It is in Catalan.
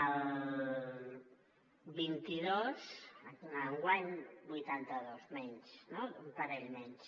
el vint dos enguany vuitanta dos menys no un parell menys